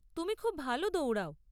তুমি খুব ভালো দৌড়াও।